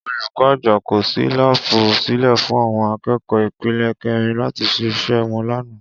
Olùkó̩ àgbà kò s̩í láàbù sílè̩ fún àwo̩n aké̩kò̩ó̩ ipele ké̩rin láti s̩e is̩é̩ wo̩n lánàá